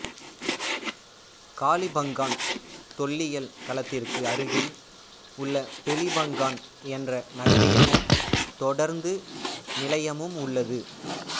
காளிபங்கான் தொல்லியல் களத்திற்கு அருகில் உள்ள பிலிபங்கான் என்ற நகரியமும் தொடருந்து நிலையமும் உள்ளது